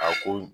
A ko